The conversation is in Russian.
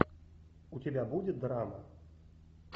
у тебя будет драма